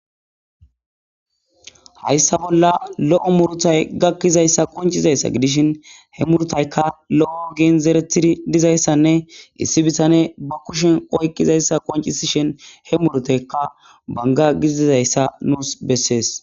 Hayssa bolla lo'o muurutay gakkizayssa qonccizayssa gidishshin he muurutayka lo7o oggen zeretidi diizayssanne issi bittaney ba kushshen oyqqidayssa qonccisidhin he muurutayka bangga giididayssa nusi beses.